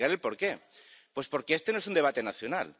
Y le explicaré el porqué. Pues porque este no es un debate nacional.